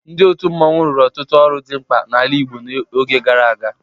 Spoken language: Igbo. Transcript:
Ndị otu mmọnwụ rụrụ ọtụtụ ọrụ dị mkpa n'ala Igbo n'oge gara aga.